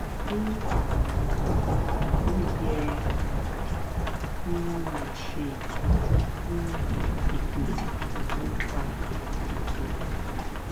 fún àwọn èèyàn ó yẹ um kí wón máa ṣe ìtọjú fún ìdòtí tó ń fa ìdòtí